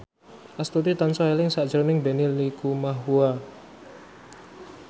Astuti tansah eling sakjroning Benny Likumahua